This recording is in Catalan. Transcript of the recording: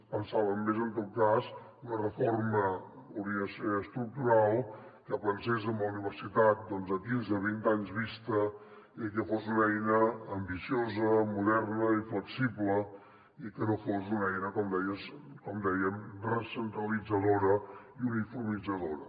pensàvem més en tot cas en una reforma que hauria de ser estructural que pensés en la universitat a quinze a vint anys vista i que fos una eina ambiciosa moderna i flexible i que no fos una eina com dèiem recentralitzadora i uniformitzadora